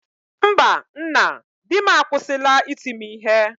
mba nna, dim akwụsịla iti m ihe